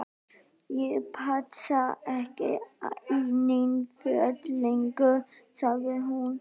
Ég passa ekki í nein föt lengur sagði hún.